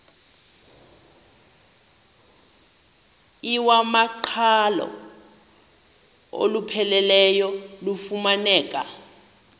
iwamaqhalo olupheleleyo lufumaneka